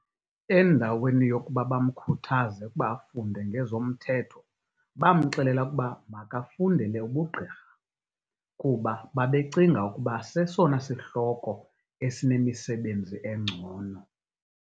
Endaweni yokuba bamkhuthaze ukuba afunde ngezomthetho bamxelela ukuba makafundele ubugqirha, kuba babecinga ukuba sesona sihloko esinemisebenzi engcono.